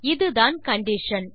இதுதான் கண்டிஷன்